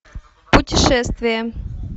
путешествие